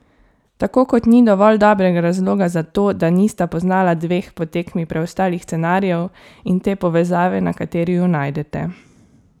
Tako kot ni dovolj dobrega razloga za to, da nista poznala dveh po tekmi preostalih scenarijev in te povezave, na kateri ju najdete.